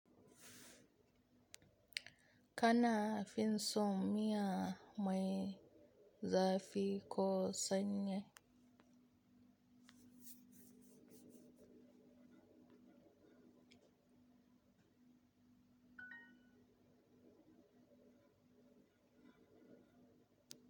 Kana finson miya mai zafi ko sanyi.